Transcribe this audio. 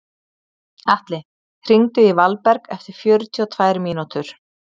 Atli, hringdu í Valberg eftir fjörutíu og tvær mínútur.